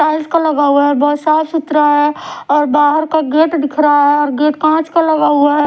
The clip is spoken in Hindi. टाइल्स का लगा हुवा हैं बहोत साफ सुथरा है और बाहर का गेट दिख रहा है और गेट कांच का लगा हुवा है।